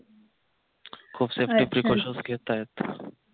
खूप safety precautions घेत आहेत